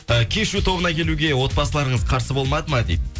кешью тобына келуге отбасыларыңыз қарсы болмады ма дейді